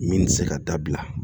Min tɛ se ka dabila